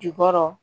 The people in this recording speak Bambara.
Jukɔrɔ